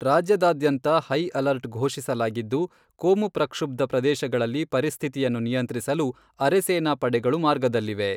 ರಾಜ್ಯದಾದ್ಯಂತ high alert ಘೋಷಿಸಲಾಗಿದ್ದು, ಕೋಮು ಪ್ರಕ್ಷುಬ್ಧ ಪ್ರದೇಶಗಳಲ್ಲಿ ಪರಿಸ್ಥಿತಿಯನ್ನು ನಿಯಂತ್ರಿಸಲು ಅರೆಸೇನಾ ಪಡೆಗಳು ಮಾರ್ಗದಲ್ಲಿವೆ.